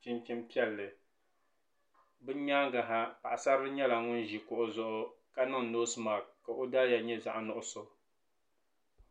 chinchini piɛlli bi yɛanga ha paɣi sarili nyɛla ŋuni zi kuɣu zuɣu ka niŋ nosi mak ka o daliya nyɛ zaɣi nuɣiso.